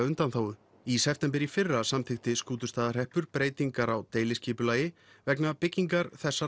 undanþágu í september í fyrra samþykkti Skútustaðahreppur breytingar á deiliskipulagi vegna byggingar þessara